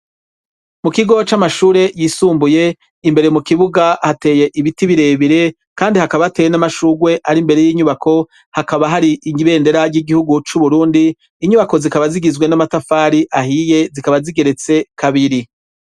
Mu kigo c'amashure yisumbuye, imbere mu kibuga hateye ibiti birebire, kandi hakaba hateye n'amashugwe ari imbere y'inyubako, hakaba hari ibendera ry'igihugu c'Uburundi, inyubako zikaba zigizwe n'amatafari ahiye, zikaba zigeretse kabiri.